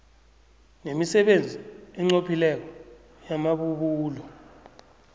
nemisebenzi enqophileko yamabubulo